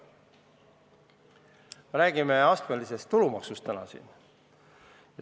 Me oleme täna rääkinud astmelisest tulumaksust.